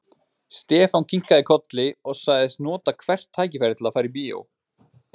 Stefán kinkaði kolli og sagðist nota hvert tækifæri til að fara í bíó.